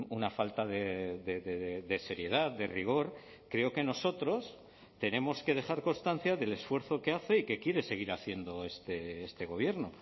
una falta de seriedad de rigor creo que nosotros tenemos que dejar constancia del esfuerzo que hace y que quiere seguir haciendo este gobierno